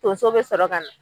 Tonso bɛ sɔrɔ ka na.